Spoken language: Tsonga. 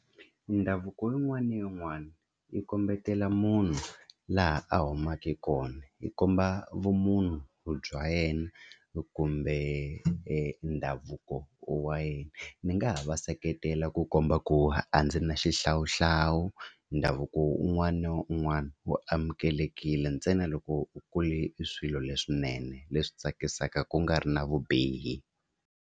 Ndhavuko yin'wana na yin'wana yi kombetela munhu laha a humaka kona, yi komba vumunhu bya yena kumbe ndhavuko wa yena. Ni nga ha va va seketela ku komba ku a ndzi na xihlawuhlawu ndhavuko un'wana na un'wana wo amukelekile ntsena loko u kule i swilo leswinene leswi tsakisaka ku nga ri na vubihi.